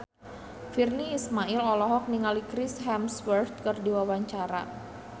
Virnie Ismail olohok ningali Chris Hemsworth keur diwawancara